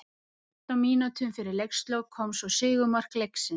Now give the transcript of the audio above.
Fimmtán mínútum fyrir leikslok kom svo sigurmark leiksins.